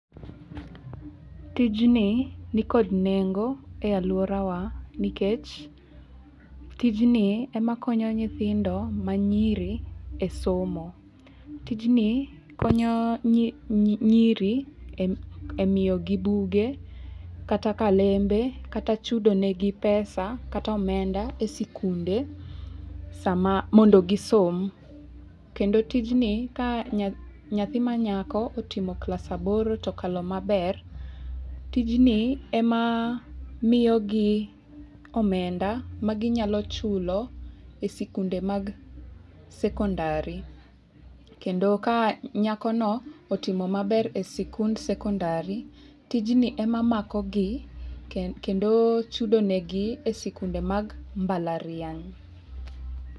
Tijni nikod nengo e alwora wa nikech tijni e ma konyo nyithindo ma nyiri e somo. Tijni konyo nyiri e miyo gi buge kata kalembe kata chudo ne gi pesa kata omenda e sikunde sama mondo gisom. Kendo tijni ka nyathi ma nyako otimo class aboro tokalo maber, tijni e ma miyo gi omenda ma ginyalo chulo e sikunde mag sekondari, kendo ka nyako no otimo maber e sikund sekondari, tij ni ema mako gi kendo chudo ne gi e sikunde mag mbalariany.